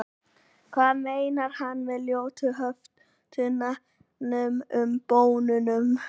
hvað meinar hann með ljótu höftunum og bönnunum